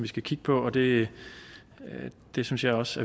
skal kigge på og det det synes jeg også